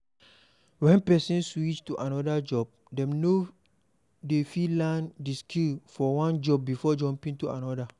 When person switch to anoda job dem no de fit learn di skills for one job before jumping to another